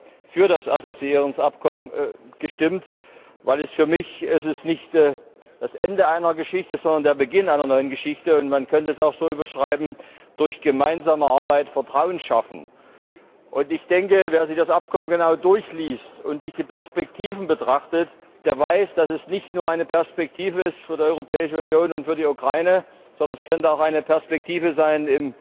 Ich habe für das Assoziierungsabkommen gestimmt, weil es für mich nicht das Ende einer Geschichte ist, sondern der Beginn einer neuen Geschichte, und man könnte es auch so überschreiben Durch gemeinsame Arbeit Vertrauen schaffen. Wer sich das Abkommen genau durchliest und sich die Perspektiven betrachtet, der weiß, dass es nicht nur eine Perspektive ist für die Europäische Union und für die Ukraine, sondern es könnte auch eine Perspektive sein,